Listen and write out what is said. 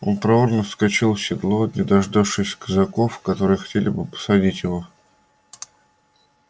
он проворно вскочил в седло не дождавшись казаков которые хотели бы посадить его